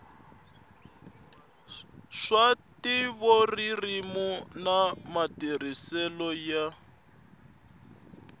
swa ntivoririmi na matirhiselo ya